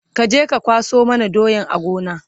kaje ka kwaso mana doyan a Gona!